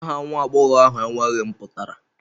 Aha nwa agbọghọ ahụ enweghị mpụtara